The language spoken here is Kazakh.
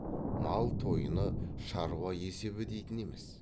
мал тойыны шаруа есебі дейтін емес